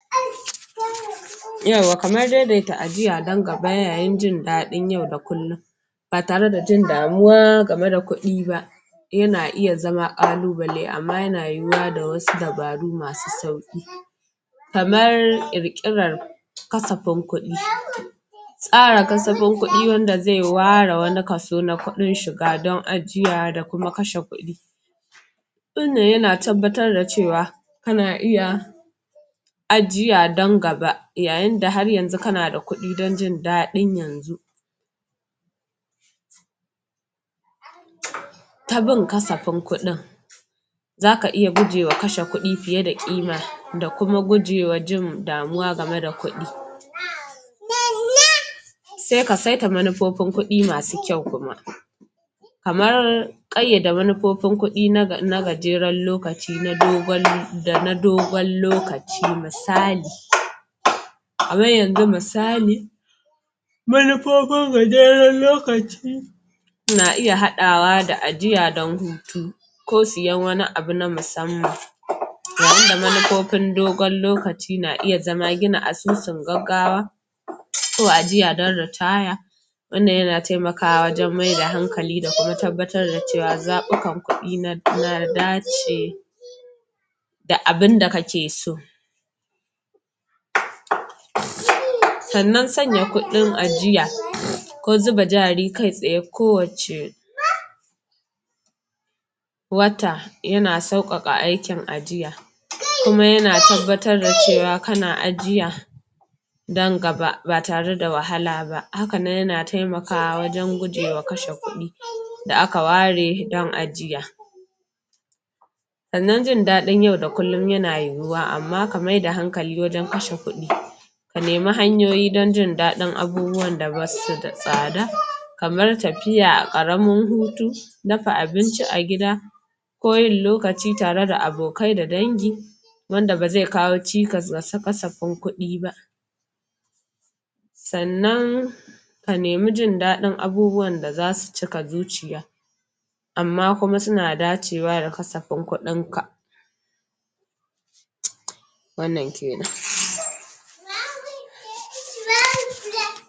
Yawwa kamar yanda ajiya don gaba don jin daɗin yau da kullum ba tare da jin damuwa game da kuɗi ba yana iya zama ƙalubale amma yana yiwuwa da wasu dabaru masu sauƙi kamar ƙirƙiran kasafin kuɗi tsara kasafin kudi wanda zai ware wani kaso na kuɗin shiga don ajiya da kuma kasafin kudi wannan yana tabbatar da cewa kana iya ajiya don gaba yayin da har yanzu kana da kudi don jin daɗin yanzu ta bin kasafin kuɗin za ka iya guje wa kashe kuɗi fiye da ƙima da kuma gujewa jin damuwa game da kuɗi sai ka saita manuffofin kuɗi masu kyau kuma kamar ƙayyada manufofin kuɗi na gajeren lokaci da na dogon lokaci misali, kamar yanzu misali manufofin gajeren lokaci na iya haɗawa da ajiya don hutu ko siyan wani abu na musamman yayinda manufofin dogon lokaci na iya zama gina asusun gaggawa ko ajiya don ritaya wannan yana taimakawa wajen maida hankali da kuma tabbatar da cewa zaɓukan kuɗi na dace da abinda ka ke so sannan sanya kuɗin ajiya ko zuba jari kai tsaye ko wacce waata yana saukaka aikin ajiya kuma yana tabbatar da cewa kana ajiya don gaba ba tare da wahala ba hakanan yan taimakawa wajen guje wa kashe kuɗi da aka ware don ajiya sannan jin dadin yau da kullum yana yiwuwa amma ka maida hankali wajen kashe kuɗi ka nemi hanyoyi don daɗin abubuwan da basu da tsada kamar tafiya karamin hutu, dafa abinci a gida ko yin lokaci tare da abokanai da dangi wanda ba zai kawo cikas ma kasafin kuɗi ba sannan ka nemi jin dadin abubuwan da zasu cika zuciya amma kuma suna dacewa da kasafin kuɗin ka wannan kenan.